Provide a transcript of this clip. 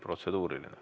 Protseduuriline.